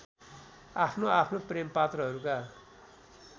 आफ्नो आफ्नो प्रेमपात्रहरूका